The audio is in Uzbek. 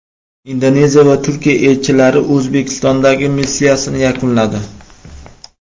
Indoneziya va Turkiya elchilari O‘zbekistondagi missiyasini yakunladi.